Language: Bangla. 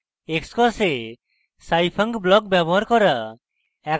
xcos এ scifunc block ব্যবহার করা